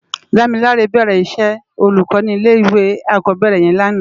Damilare bèrè iṣè ólúkò ni ilé iwé ákòbèrè yèn làná